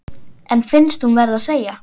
En finnst hún verða að segja: